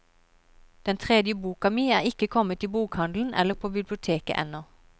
Den tredje boka mi er ikke kommet i bokhandelen eller på biblioteket ennå.